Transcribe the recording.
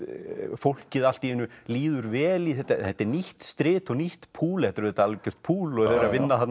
fólki allt í einu líður vel þetta er nýtt strit og nýtt púl þetta er auðvitað algjört púl og þau eru að vinna